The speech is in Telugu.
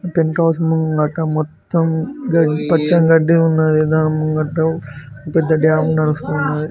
పెంట్ హౌస్ ముంగట మొత్తం గడ్డి పచ్చని గడ్డి ఉన్నది దాని ముంగట పెద్ద డ్యామ్ ఉండాల్సి ఉన్నది.